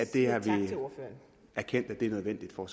vi har erkendt at det er nødvendigt for